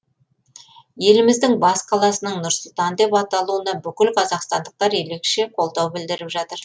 еліміздің бас қаласының нұр сұлтан деп аталуына бүкіл қазақстандықтар ерекше қолдау білдіріп жатыр